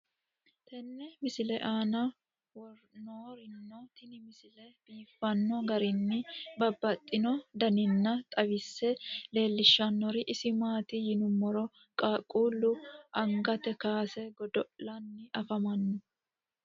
tenne misile aana noorina tini misile biiffanno garinni babaxxinno daniinni xawisse leelishanori isi maati yinummoro qaaqqullu angatte kaasse godo'lanni afammanno